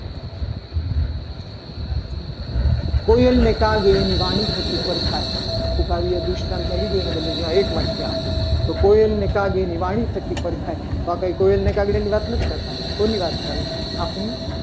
કોયલ ને કાગની એની વાણી થકી પરખાય. આખું કાવ્ય ધ્રુવસ્થાતમાં લીધું. એના બદલે આ એક આ એક વાક્ય આપો. તો કોઈ એને કાગની વાણી પ્રત્યે પરખાય. તો આ કંઈ કોયલ અને કાગડાની વાત નથી. કરતા કોની વાત કરે છે. આપણી